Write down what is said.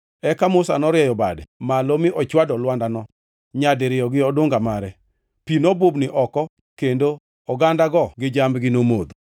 Eka Musa norieyo bade malo mi ochwado lwandano nyadiriyo gi odunga mare. Pi nobubni oko, kendo ogandago gi jambgi nomodho.